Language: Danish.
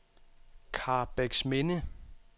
Karrebæksminde